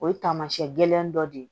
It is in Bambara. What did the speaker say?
O ye tamasiyɛn gɛlɛn dɔ de ye